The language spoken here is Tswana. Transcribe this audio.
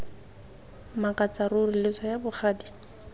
makatsa ruri lo tsaya bogadi